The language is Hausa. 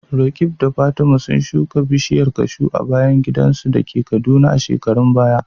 Roqeeb da Fatima sun shuka bishiyar kashu a bayan gidansu da ke Kaduna a shekarun baya.